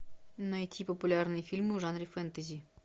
найти популярные фильмы в жанре фэнтези